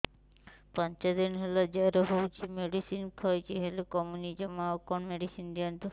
ପାଞ୍ଚ ଦିନ ହେଲା ଜର ହଉଛି ମେଡିସିନ ଖାଇଛି ହେଲେ କମୁନି ଜମା ଆଉ କଣ ମେଡ଼ିସିନ ଦିଅନ୍ତୁ